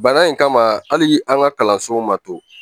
Bana in kama hali an ka kalansow ma to